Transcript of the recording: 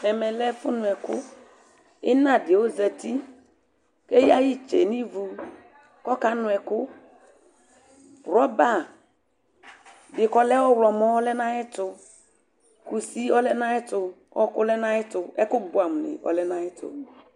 Ɛmɛ lɛ ɛfʋnʋɛkʋ ɩna dɩ ɔzati Eyǝ ɩtsɛ nʋ ivu kʋ ɔkanʋ ɛkʋ Rɔba dɩ kʋ ɔlɛ ɔɣlɔmɔ ɔlɛ nʋ ayɛtʋ Kusi ɔlɛ nʋ ayɛtʋ, ɔɣɔkʋ ɔlɛ nʋ ayɛtʋ Ɛkʋbʋɛamʋnɩ ɔlɛ nʋ ayɛtʋ